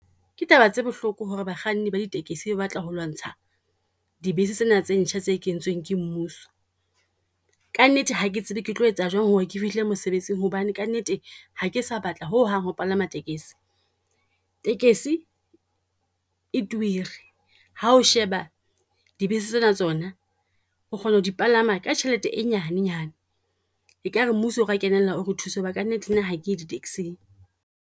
Ke taba tse bohloko ho re bakganni ba di tekesi ba batla ho lwantsha di bese tsena tse ntjha tse kentsweng ke mmuso. Ka nnete hake tsebe ke tlo etsa jwang ho re ke fihla mosebetsing, hobane ka nnete ha ke sa batla ho hang ho palama tekesi. Tekesi e turi, ha o sheba di bese tsena tsona, o kgona ho di palama ka tjhelete e nyanenyane. Ekare mmuso o ka kenella o re thuse ho ba ka nnete nna ha ke di taxi-ng.